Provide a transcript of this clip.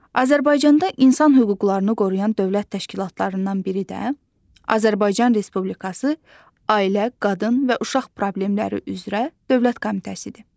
Azərbaycanda insan hüquqlarını qoruyan dövlət təşkilatlarından biri də Azərbaycan Respublikası Ailə, Qadın və Uşaq Problemləri üzrə Dövlət Komitəsidir.